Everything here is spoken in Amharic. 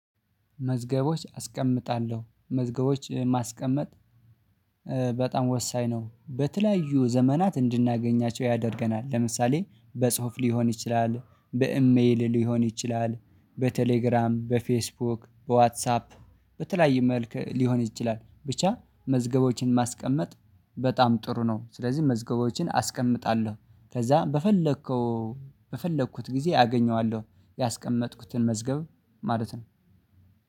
መዝገቦች አስቀምጣለሁ መዝገቦች ማስቀመጥ። በጣም ወሳኝ ነው በተለያዩ ዘመናት እንድናገኛቸው ያደርገናል። ለምሳሌ በጽሁፍ ሊሆን ይችላል በኢሜል ሊሆን ይችላል በቴሌግራም በፌስቡክ በዋትሳፕ በተለያየ መልክ ሊሆን ይችላል ብቻ መዝገቦችን ማስቀመጥ። በጣም ጥሩ ነው ስለዚህ መዝገቦችን አስቀምጣለሁ ከዛ በፈለከው በፈለኩት ጊዜ አገኘዋለሁ። ያስቀመጥኩትን መዝገብ ማለት ነው።